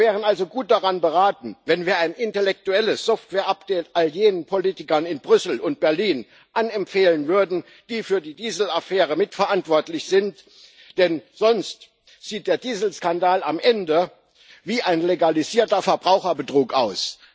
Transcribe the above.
Wir wären also gut beraten, wenn wir ein intellektuelles Software Update all jenen Politikern in Brüssel und Berlin anempfehlen würden, die für die Dieselaffäre mitverantwortlich sind, denn sonst sieht der Dieselskandal am Ende wie ein legalisierter Verbraucherbetrug aus.